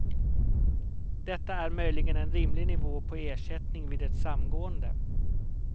Detta är möjligen en rimlig nivå på ersättning vid ett samgående.